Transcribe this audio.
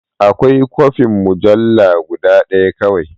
Akwai kwafin mujalla guda ɗaya kawai.